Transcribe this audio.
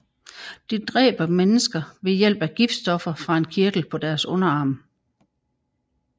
De dræber mennesker ved hjælp af giftstoffer fra en kirtel på deres underarm